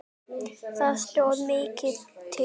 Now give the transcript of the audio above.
Það stóð mikið til.